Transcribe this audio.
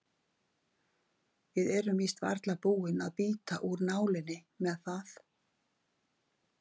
Við erum víst varla búin að bíta úr nálinni með það.